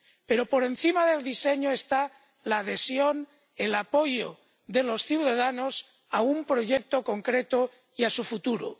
Pero por encima del diseño está la adhesión, el apoyo de los ciudadanos a un proyecto concreto y a su futuro.